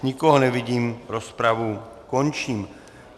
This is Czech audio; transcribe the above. Nikoho nevidím, rozpravu končím.